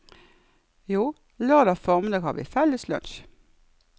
Jo, lørdag formiddag har vi felles lunsj.